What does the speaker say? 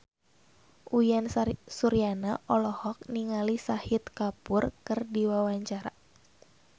Uyan Suryana olohok ningali Shahid Kapoor keur diwawancara